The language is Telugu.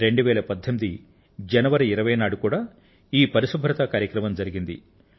2018 జనవరి 20వ తేదీన కూడా ఈ పరిశుభ్రత కార్యక్రమం జరిగింది